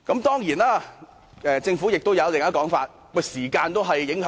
當然，政府亦有另一種說法，是時間因素。